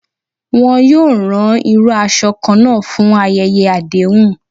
Wọn yoo ran iru aṣọ kanna fun ayẹyẹ adehun.